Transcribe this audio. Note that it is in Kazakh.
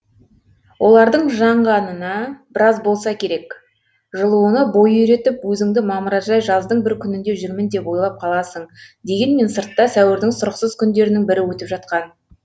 олардың жаңғанына біраз болса керек жылуына бой үйретіп өзіңді мамыражай жаздың бір күнінде жүрмін деп ойлап қаласың дегенмен сыртта сәуірдің сұрықсыз күндерінің бірі өтіп жатқан